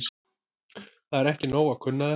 Það er ekki nóg að kunna þetta.